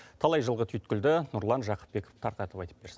талай жылғы түйткілді нұрлан жақыпбеков тарқатып айтып берсін